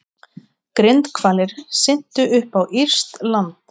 Grindhvalir syntu upp á írskt land